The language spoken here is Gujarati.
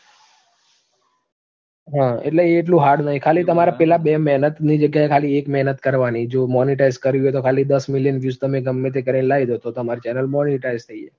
એટલે એ એટલું hard નહીં. ખાલી તમાર પેલા બે મહેનતની જગ્યાએ ખાલી એક મહેનત કરવાની, જો monetise કરવી હોય તો ખાલી દસ million views તમે ગમે તે કરીને લાઇ દો તો તમારી channel monetise થઇ જાય